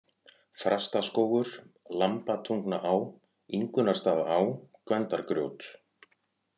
Þrastaskógur, Lambatungnaá, Ingunnarstaðaá, Gvendargjót